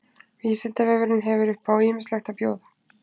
Vísindavefurinn hefur upp á ýmislegt að bjóða.